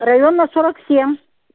района сорок семь